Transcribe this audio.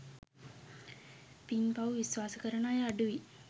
පින් පව් විශ්වාස කරන අය අඩුයි.